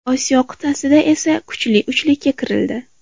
Osiyo qit’asida esa kuchli uchlikka kirildi.